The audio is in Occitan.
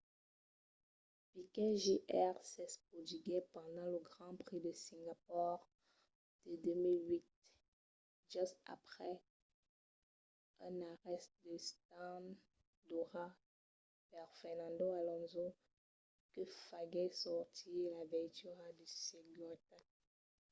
piquet jr. s'espotiguèt pendent lo grand prix de singapor de 2008 just aprèp un arrèst a l'stand d'ora per fernando alonso que faguèt sortir la veitura de seguretat